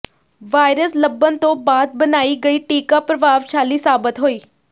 virus ਲੱਭਣ ਤੋਂ ਬਾਅਦ ਬਣਾਈ ਗਈ ਟੀਕਾ ਪ੍ਰਭਾਵਸ਼ਾਲੀ ਸਾਬਤ ਹੋਈ